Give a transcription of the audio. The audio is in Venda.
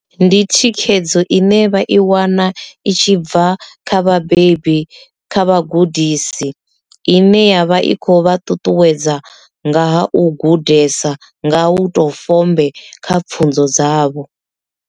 Ndi thikhedzo ine vha i wana i tshi bva kha vhabebi kha vhagudisi ine yavha i kho vha ṱuṱuwedza nga ha u gudesa nga u to fombe kha pfhunzo dzavho.